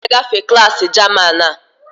Ị ga-agafe klaasị German a!